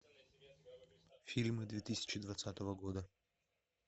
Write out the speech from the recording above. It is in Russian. фильмы две тысячи двадцатого года